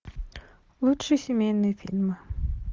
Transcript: лучшие семейные фильмы